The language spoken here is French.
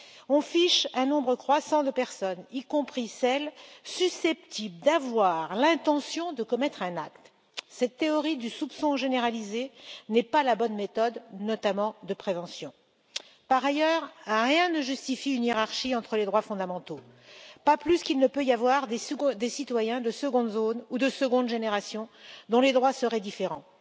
On fiche un nombre croissant de personnes, y compris celles susceptibles d'avoir l'intention de commettre un acte. Cette théorie du soupçon généralisé n'est pas la bonne méthode, notamment de prévention. Par ailleurs, rien ne justifie une hiérarchie entre les droits fondamentaux, pas plus qu'il ne peut y avoir des citoyens de seconde zone ou de seconde génération, dont les droits seraient différents.